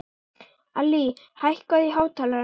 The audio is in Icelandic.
Allý, hækkaðu í hátalaranum.